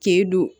K'e don